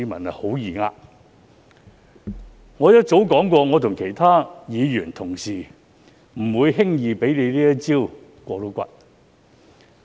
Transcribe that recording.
我早已說過，我和其他議員不會輕易讓他"過骨"。